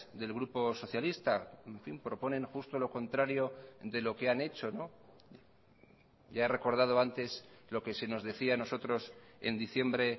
del grupo socialista proponen justo lo contrario de lo que han hecho ya he recordado antes lo que se nos decía a nosotros en diciembre